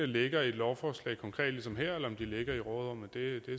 ligger i et lovforslag ligesom her eller om de ligger i råderummet